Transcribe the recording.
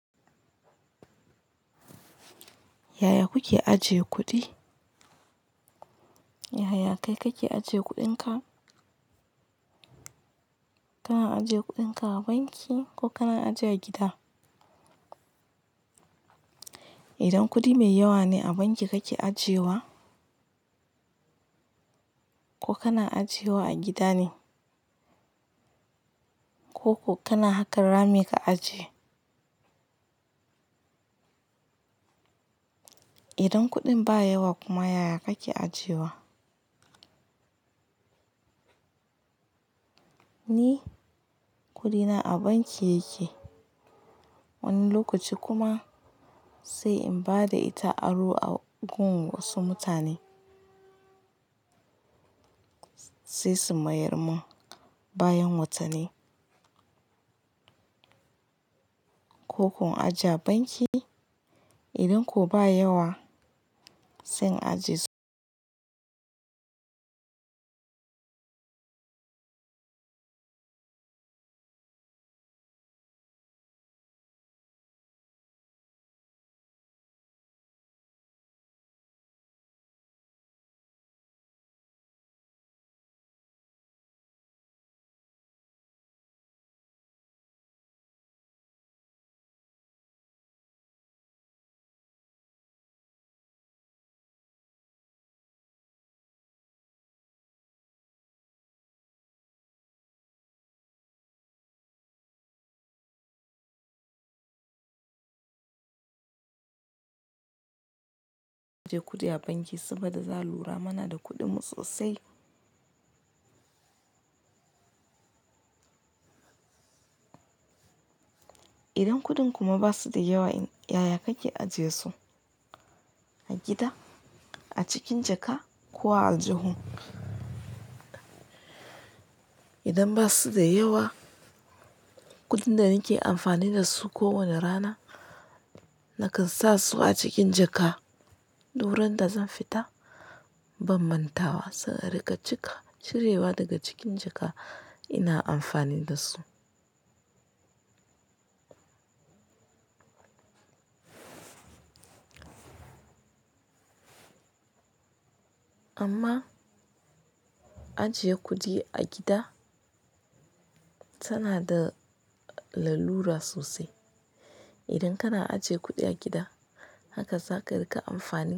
Yaya kuke ajiye kuɗi? Yaya kai kake ajiye kuɗinka? Kana ajiye kuɗinka a banki ko kana ajiye a gida? Idan kuɗi mai yawa ne a banki kake ajiyewa, ko kana ajiyewa a gida ne? Ko ko kana haka rami ka ajiye? Idan kuɗin ba yawa kuma yaya kake ajiyewa? Ni kuɗina a banki yake, wani lokaci kuma sai in bada ita aro a gun wasu mutane, sai su mayar min bayan watanni. Ko ko in ajiye a banki? Idan ko ba yawa zan ajiye su ajiye kuɗi a banki saboda za lura muna da kuɗinmu sosai. Idan kuɗin kuma basu da yawa, yaya kake ajiyesu, a gida, a cikin jaka ko a aljihu? Idan basu da yawa, kuɗin da nake amfani da su kowane rana, nakan sa su a cikin jaka, wurinda zan fita ban mantawa, sai a rika cika. Cirewa daga cikin jaka ina amfani da su. Amma ajiye kuɗi a gida tana da lalura sosai. Idan kana ajiye kuɗi a gida, haka za ka rika amfani.